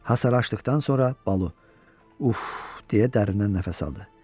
Hasarı açdıqdan sonra Balu, uf deyə dərindən nəfəs aldı.